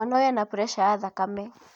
Mwana ũyũ ena preca ya thakame